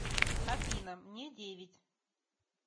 афина мне девять